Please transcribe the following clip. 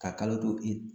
Ka kalo to i